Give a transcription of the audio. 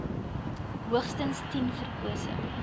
hoogstens tien verkose